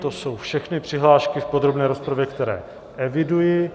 To jsou všechny přihlášky v podrobné rozpravě, které eviduji.